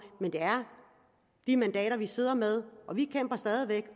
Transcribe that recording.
men det er de mandater vi sidder med vi kæmper stadig væk